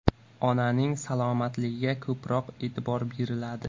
Onaning salomatligiga ko‘proq e’tibor beriladi.